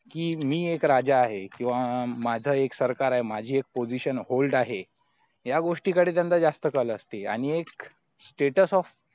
स्वतः एक हुकूमशाहीची पद्धत आहे की मी एक राजा आहे किंवा माझं एक सरकार आहे माझी एक position hold आहे या गोष्टी त्यांचा जास्त कल असते आणि एक status off